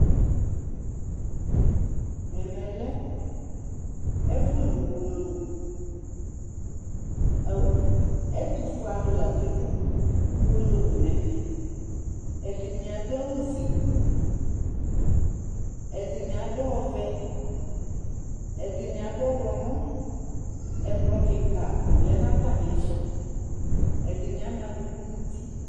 Ɛmɛ lɛ ɛfʋlu uwolowu A o ɛtʋfuealʋ la kelu uwolowu nʋ ɛmɛ Ɛdɩnɩ adʋ awʋzi gblu Ɛdɩnɩ adʋ ɔvɛ, ɛdɩnɩ adʋ ɔɣlɔmɔ Ɛkplɔ kɩka lɛ nʋ atamɩɛtʋ Ɛdɩnɩ ama adʋkʋ nʋ uti